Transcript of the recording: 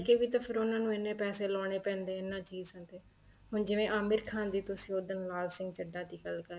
ਕੇ ਵੀ ਤਾਂ ਉਹਨਾ ਨੂੰ ਐਨੇ ਪੈਸੇ ਲਾਉਣੇ ਪੈਂਦੇ ਨੇ ਇਹਨਾ ਚੀਜ਼ਾਂ ਤੇ ਹੁਣ ਜਿਵੇਂ ਆਮਿਰ ਖਾਨ ਤੁਸੀਂ ਉਦਣ ਲਾਲ ਸਿੰਘ ਚੱਡਾ ਦੀ ਗੱਲ ਕਰ ਰਹੇ ਸੀ